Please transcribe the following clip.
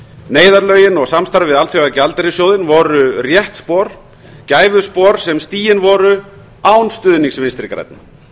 neyðarlögin og samstarfið við alþjóðagjaldeyrissjóðinn voru rétt spor gæfuspor sem stigin voru án stuðnings vinstri grænna